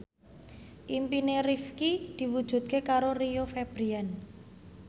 impine Rifqi diwujudke karo Rio Febrian